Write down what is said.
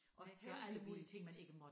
Ja heldigvis